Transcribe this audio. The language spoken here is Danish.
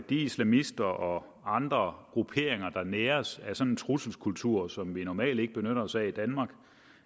islamister og andre grupperinger der næres af en sådan trusselskultur som vi normalt ikke benytter os af i danmark